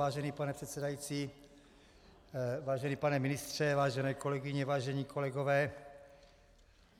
Vážený pane předsedající, vážený pane ministře, vážené kolegyně, vážení kolegové,